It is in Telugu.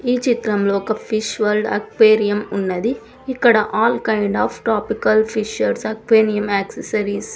ఈ చిత్రంలో ఒక ఫిష్ వరల్డ్ అక్వేరియం ఉన్నది. ఇక్కడ all kind of tropical fishes aquarium accessories --